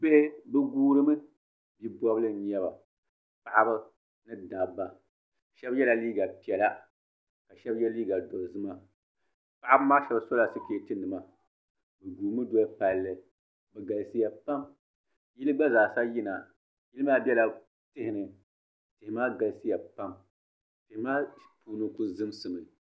Bihi bɛ guurimi bi' bɔbili n-nyɛ ba paɣiba ni dabba shɛba yɛla liiga piɛla ka shɛba ye liiga dozima paɣiba maa shɛba sola sikeetinima bɛ guumi doli palli bɛ galisiya pam yili gba yina yili maa bela tihi ni tihi maa galisiya pam tihi maa puuni kuli zimsimi